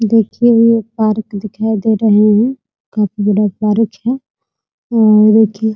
देखिये ये पार्क दिखाई दे रहे है बहुत बड़ा पार्क है और देखिए --